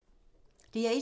DR1